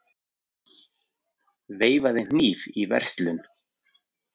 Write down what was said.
Veifaði hníf í verslun